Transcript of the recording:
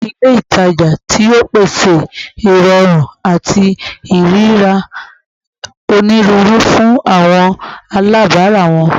Awọn ile itaja tio pese irọrun ati iriri rira oniruuru fun awọn alabara wọn